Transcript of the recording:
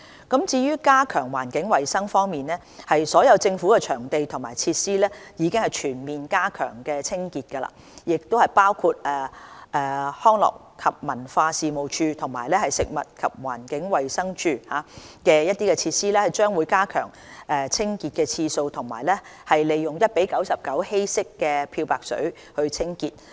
加強環境衞生所有政府的場地和設施已全面加強清潔，包括康樂及文化事務署及食物環境衞生署的設施將會增加清潔的次數及利用 1：99 的稀釋漂白水清潔。